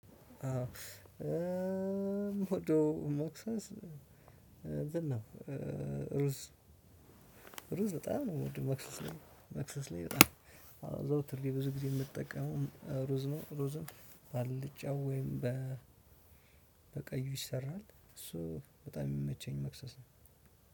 አዎ ምወደው መክሰስ እንትን ነው። ሩዝ ሩዝ በጣም ነው የምወደው መክሰስ ላይ መክሰስ ላይ በጣም አዘውትሬ ብዙ ጊዜ የምጠቀመው ሩዝ ነው። ሩዝን ባልጫው ወይም በቀዩ ይሰራል እሱ በጣም የሚመቸኝ መክሰስ ነው።